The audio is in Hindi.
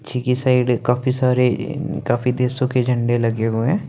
चिकी साइड काफी सारे काफी देशो के झंडे लगे हुए हैं।